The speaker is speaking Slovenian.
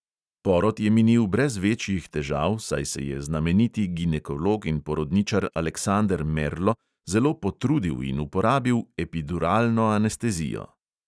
Porod je minil brez večjih težav, saj se je znameniti ginekolog in porodničar aleksander merlo zelo potrudil in uporabil epiduralno anestezijo.